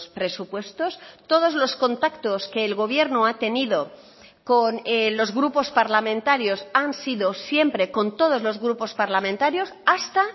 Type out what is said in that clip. presupuestos todos los contactos que el gobierno ha tenido con los grupos parlamentarios han sido siempre con todos los grupos parlamentarios hasta